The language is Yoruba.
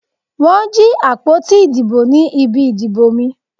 Wọ́n jí àpótí ìdìbò ní ibi ìdìbò mi.